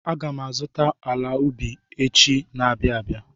Aga m azụ ala ubi echi na-abịa abịa.